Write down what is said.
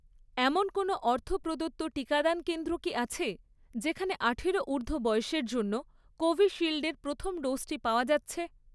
এমন কোনও অর্থ প্রদত্ত টিকাদান কেন্দ্র কি আছে, যেখানে আঠারো ঊর্ধ্ব বয়সের জন্য কোভিশিল্ডের প্রথম ডোজটি পাওয়া যাচ্ছে?